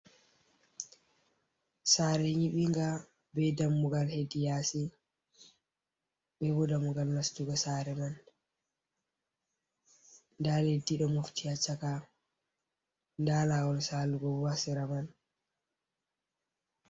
Sare nyiɓinga be dammugal heddi yasi be bo dammugal nastugo sare man nda leddi ɗo mofti ha chaka nda lawol salugo bo ha sera man.